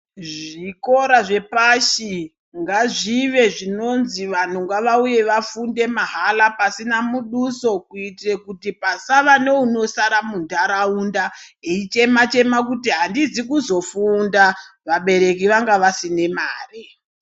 Zvikora zvepashi ngazvive zvinonzi vanhuu ngavauye vafunde mahala pasina muduso, kuitire kuti pasava neunosara munharaunda eichemachema kuti handina kuzofunda vabereki vanga vasina mare.